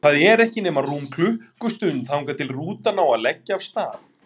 Það er ekki nema rúm klukkustund þangað til rútan á að leggja af stað.